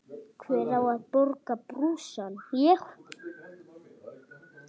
Hver á að borga brúsann?